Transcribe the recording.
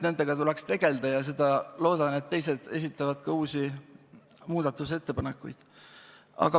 Nendega tuleks tegelda ja ma loodan, et teised esitavad ka uusi muudatusettepanekuid.